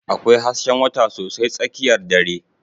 Akwai hasken wata sosai tsakiyar dare.